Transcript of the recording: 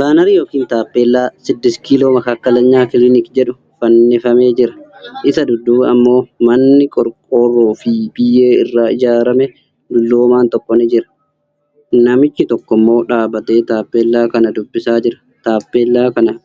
Baanarii yookiin tappeellaa 'siddisti kiiloo makaakkalagnaa kiliniki' jedhu fannifamee jira. isa duduuba ammoo manni qorqorroo fi biyyee irraa ijaarame, dulloomaan tokko jira. Namichi tokkommoo dhaabatee tappeellaa kana dubbisaa jira. Tappellaa kana